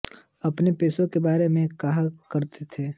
अपने पेशे के बारे में कहा करते थे